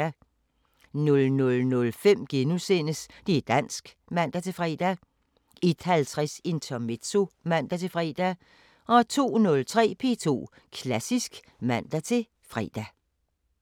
00:05: Det´ dansk *(man-fre) 01:50: Intermezzo (man-fre) 02:03: P2 Klassisk (man-fre)